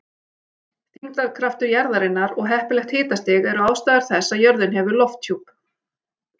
Þyngdarkraftur jarðarinnar og heppilegt hitastig eru ástæður þess að jörðin hefur lofthjúp.